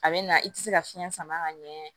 A bɛ na i tɛ se ka fiɲɛ sama ka ɲɛ